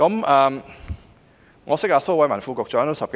我認識蘇偉文副局長已10多年。